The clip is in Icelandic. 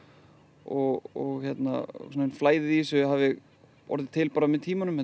og flæðið í þessu hafi orðið til með tímanum þetta